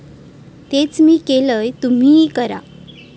तेच मी केलंय, तुम्हीही करा.